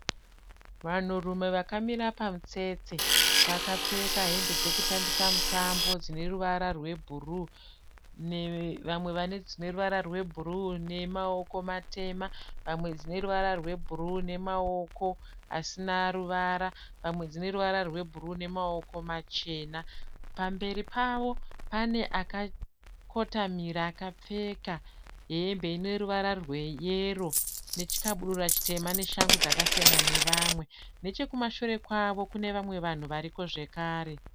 Vanhu rume vakamira pamutsetse, vakapfeka hembe dzekutambisa mutambo dzineruvara rwebhuru nechpamberi Pavo panemunhu akamira akakotamira akapfeka hembe yeyero, nechekumashure kunevanhu variko zvekare.